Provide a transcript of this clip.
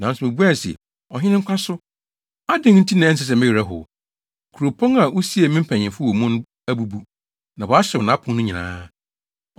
nanso mibuae se, “Ɔhene nkwa so! Adɛn nti na ɛnsɛ sɛ me werɛ how? Kuropɔn a wosiee me mpanyimfo wɔ mu no abubu, na wɔahyew nʼapon no nyinaa.”